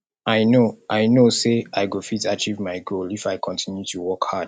i no i no say i go fit achieve my goal if i continue to work hard